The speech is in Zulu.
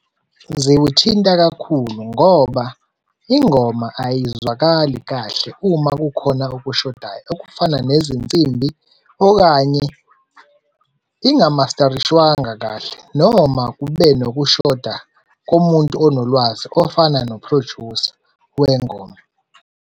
Ziwuthinta kakhulu ngoba ingoma ayizwakali kahle uma kukhona okushodayo, okufana nezinsimbi okanye inga-master-rishwanga kahle. Noma kube nokushoda komuntu onolwazi ofana no-producer wengoma.